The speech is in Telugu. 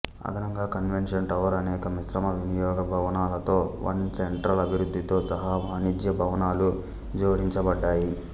అదనంగా కన్వెన్షన్ టవర్ అనేక మిశ్రమ వినియోగ భవనాలతో వన్ సెంట్రల్ అభివృద్ధితో సహా వాణిజ్య భవనాలు జోడించబడ్డాయి